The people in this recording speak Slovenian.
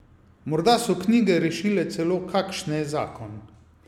Morda so knjige rešile celo kakšne zakon.